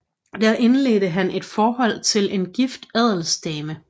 Der indledte han et forhold til en gift adelsdame